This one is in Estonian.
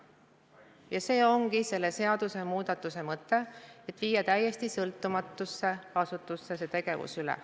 Ja see ongi selle seadusmuudatuse mõte, et viia täiesti sõltumatusse asutusse see tegevus üle.